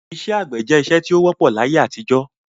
Isẹ́ àgbẹ̀ je isẹ́ ti o wọ́pọ̀ láyé-àtijọ́